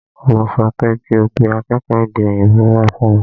Mo sọ pé kí o pe akékòó èdè òyìnbó wá fún mi!